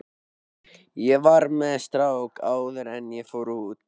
Ég var með strák áður en ég fór út.